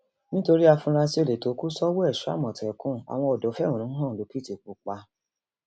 nítorí àfurasí olè tó kù sọwọ èso àmọtẹkùn àwọn odò fẹhónú hàn lòkìtìpápá